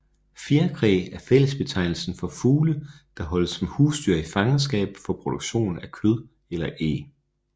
Fjerkræ er fællesbetegnelsen for fugle der holdes som husdyr i fangenskab for produktion af kød eller æg